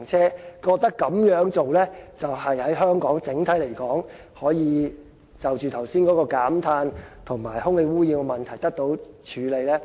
政府認為這樣對香港整體——剛才所說的——減碳及空氣污染問題可以得到處理。